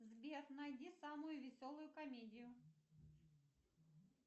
сбер найди самую веселую комедию